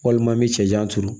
Walima n bɛ cɛncɛn turu